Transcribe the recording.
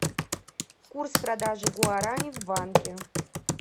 курс продажи гуарани в банке